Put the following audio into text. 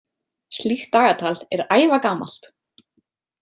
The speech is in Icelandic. Slíkt dagatal er ævagamalt.